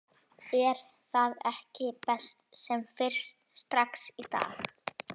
Er það ekki best sem fyrst, strax í dag??